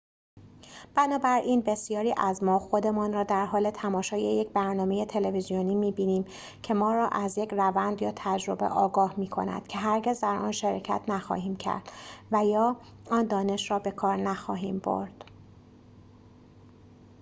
بنابراین بسیاری از ما خودمان را در حال تماشای یک برنامه تلویزیونی می‌بینیم که ما را از یک روند یا تجربه آگاه می کند که هرگز در آن شرکت نخواهیم کرد و یا آن دانش را به کار نخواهیم برد